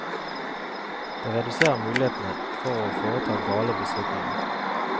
Det reduserer mulighetene for å foreta gale beslutninger.